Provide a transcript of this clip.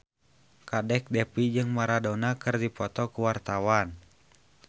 Kadek Devi jeung Maradona keur dipoto ku wartawan